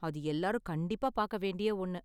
அது எல்லாரும் கண்டிப்பா பார்க்க வேண்டிய ஒன்னு.